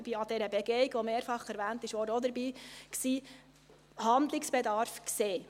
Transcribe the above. ich war an der Begehung, die mehrfach erwähnt wurde, auch dabei – überhaupt Handlungsbedarf sehen.